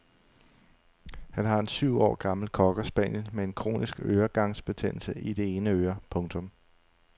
Han har en syv år gammel cockerspaniel med en kronisk øregangsbetændelse i det ene øre. punktum